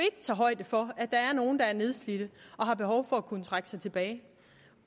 tager højde for at der er nogle der er nedslidte og har behov for at kunne trække sig tilbage